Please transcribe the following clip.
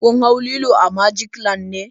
Kun hau lilo a magic land ne?